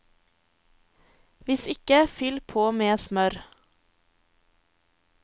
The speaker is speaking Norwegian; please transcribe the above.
Hvis ikke, fyll på med smør.